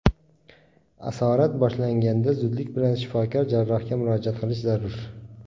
Asorat boshlanganda zudlik bilan shifokor jarrohga murojaat qilish zarur.